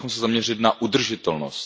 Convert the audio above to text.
Měli bychom se zaměřit na udržitelnost.